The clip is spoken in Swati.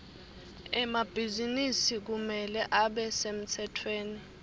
emabhizinisi kumele abe semtsetfweni